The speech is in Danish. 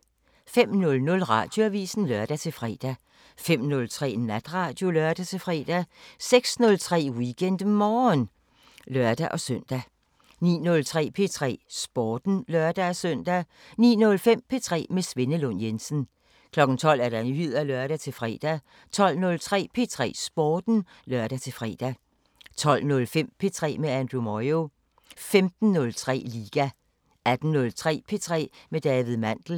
05:00: Radioavisen (lør-fre) 05:03: Natradio (lør-fre) 06:03: WeekendMorgen (lør-søn) 09:03: P3 Sporten (lør-søn) 09:05: P3 med Svenne Lund Jensen 12:00: Nyheder (lør-fre) 12:03: P3 Sporten (lør-fre) 12:05: P3 med Andrew Moyo 15:03: Liga 18:03: P3 med David Mandel